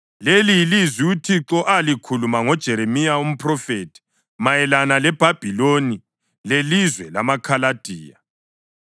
Leli yilizwi uThixo alikhuluma ngoJeremiya umphrofethi mayelana leBhabhiloni lelizwe lamaKhaladiya: